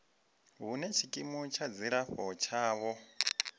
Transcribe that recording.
hune tshikimu tsha dzilafho tshavho